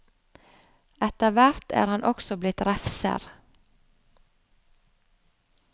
Etter hvert er han også blitt refser.